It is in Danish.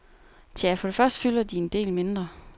Tja, for det første fylder de en del mindre.